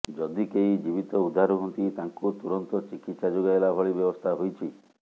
ଯଦି କେହି ଜୀବିତ ଉଦ୍ଧାର ହୁଅନ୍ତି ତାଙ୍କୁ ତୁରନ୍ତ ଚିକିତ୍ସା ଯୋଗାଇଲା ଭଳି ବ୍ୟବସ୍ଥା ହୋଇଛି